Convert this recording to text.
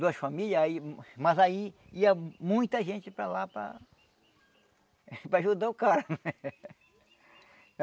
duas famílias, aí mas aí ia muita gente para lá para para ajudar o cara.